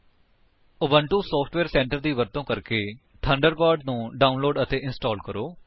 Ubuntu software centre ਦੀ ਵਰਤੋ ਕਰਕੇ ਥੰਡਰਬਰਡ ਨੂੰ ਡਾਉਨਲੋਡ ਅਤੇ ਇੰਸਟਾਲ ਕਰੋ